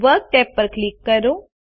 work tab ઉપર click કરો